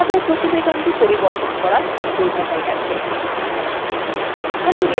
আমাদের প্রতিবেদনটি পরিবর্তন করা সম্পূর্ণ হয়ে গেছে